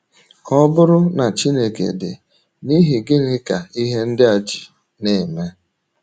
Ọ bụrụ na Chineke dị, n’ihi gịnị ka ihe ndị a ji na - eme?